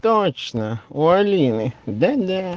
точно у алины да да